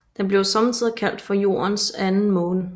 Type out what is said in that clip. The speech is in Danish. Den bliver sommetider kaldt for Jordens Anden Måne